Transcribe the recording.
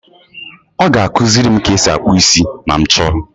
Ọ ga-akụziri m ka e si akpụ isi ma m chọọ.